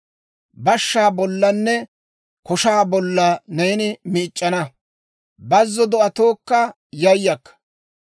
Bashshaa bollanne koshaa bolla neeni miic'c'ana; bazzo do'atookka yayakka.